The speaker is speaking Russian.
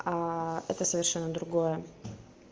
это совершенно другое